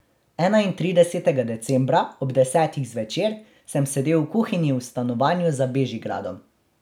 Enaintridesetega decembra ob desetih zvečer sem sedel v kuhinji v stanovanju za Bežigradom.